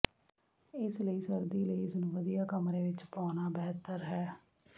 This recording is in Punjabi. ਇਸ ਲਈ ਸਰਦੀ ਲਈ ਇਸ ਨੂੰ ਵਧੀਆ ਕਮਰੇ ਵਿੱਚ ਪਾਉਣਾ ਬਿਹਤਰ ਹੈ